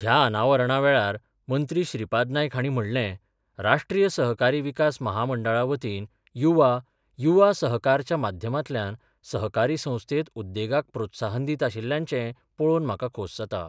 ह्या अनावरणा वेळार मंत्री श्रीपाद नायक हांणी म्हणलें, राष्ट्रीय सहकारी विकास महामंडळा वतीन युवा युवा सहकारच्या माध्यमांतल्यान सहकारी संस्थेत उद्देगाक प्रोत्साहन दीत आशिल्ल्याचें पळोवन म्हाका खोस जाता.